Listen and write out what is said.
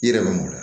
I yɛrɛ bɛ m'o la